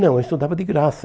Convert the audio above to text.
Não, eu estudava de graça.